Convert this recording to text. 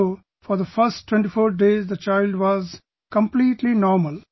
So, for the first 24 days the child was completely normal